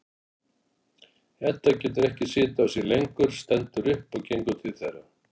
Edda getur ekki setið á sér lengur, stendur upp og gengur til þeirra.